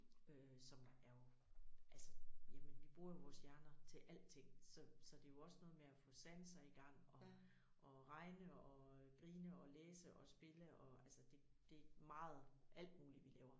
Øh som er jo altså jamen vi bruger jo vores hjerner til alting så så det jo også noget med at få sanser igang og og regne og grine og læse og spille og altså det det meget alt muligt vi laver